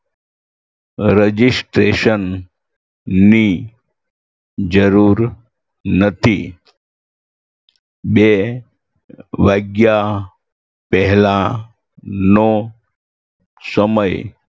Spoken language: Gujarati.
Registration ની જરૂર નથી. બે વાગ્યા પેહલાનો સમય